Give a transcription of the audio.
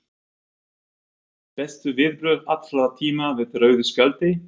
Myndband: Bestu viðbrögð allra tíma við rauðu spjaldi?